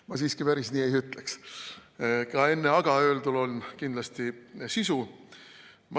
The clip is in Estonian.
Ma siiski päris nii ei ütleks, ka enne "aga" öeldul on kindlasti sisu.